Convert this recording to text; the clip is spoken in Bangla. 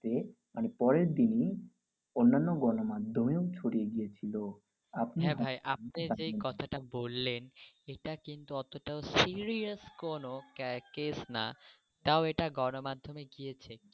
তো মানে পরের দিনই অন্যান্য গণ মাধ্যমেও ছড়িয়ে গিয়ে ছিল. হ্যাঁ ভাই আপনি যে কথাটা বললেন এটা কিন্তু অতটাও serious কোনও ক্যারাক কেস না তাও এটা গণ মাধ্যমে গিয়েছে।